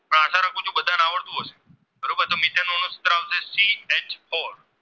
ઓર